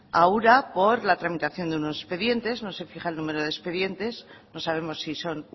a ura por la tramitación de unos expedientes no se fija el número de expedientes no sabemos si son